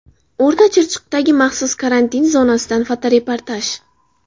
O‘rta Chirchiqdagi maxsus karantin zonasidan fotoreportaj.